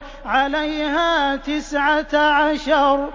عَلَيْهَا تِسْعَةَ عَشَرَ